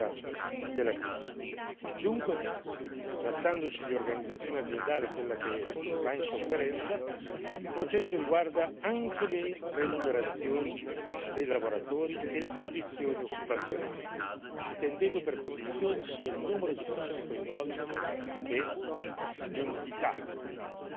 Dunque, trattandosi di un'organizzazione aziendale che va in sofferenza, il processo riguarda anche le remunerazioni dei lavoratori e le condizioni occupazionali, intendendo per condizioni sia il numero di persone coinvolte che l'entità e il carattere,